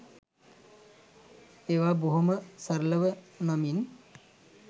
ඒවා බොහොම සරලව නමින්